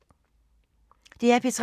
DR P3